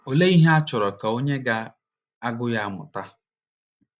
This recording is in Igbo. Olee ihe a chọrọ ka onye ga - agụ ya mụta?